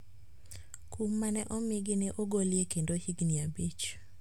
Kum ma ne omigi ne ogolye kendo higni abich